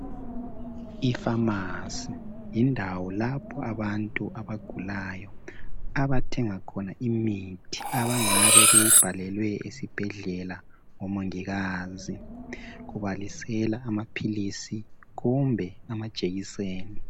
Ifamasi yindawo lapho abantu abagulayo abathenga khona imithi ebangabe beyibhalelwe esibhendlela ngomongikazi ebalisela amaphilisi kumbe amajekiseni.